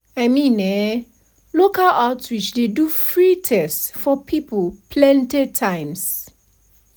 i mean eh local outreach dey do free test for people plenty times.